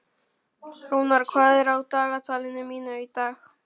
Rúnar, hvað er á dagatalinu mínu í dag?